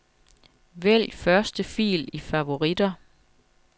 Vælg første fil i favoritter.